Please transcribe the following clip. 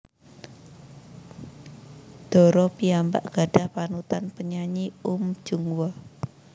Dara piyambak gadhah panutan penyanyi Uhm Jung Hwa